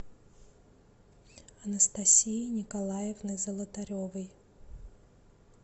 анастасии николаевны золотаревой